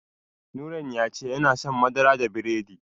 Nurain ya ce yana son madara da biredi.